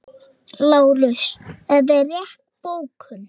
LÁRUS: Þetta er rétt bókun.